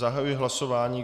Zahajuji hlasování.